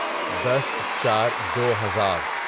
دس چار دو ہزار